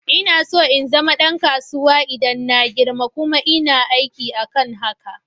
Ina so in zama ɗan kasuwa idan na girma, kuma ina aiki akan hakan.